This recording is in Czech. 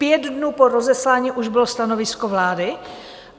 Pět dnů po rozeslání už bylo stanovisko vlády!